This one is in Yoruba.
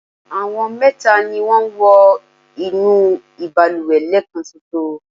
àwọn mẹta ni wọ́n wọ inú ìbalùwẹ̀ lẹ́ẹ̀kanṣoṣo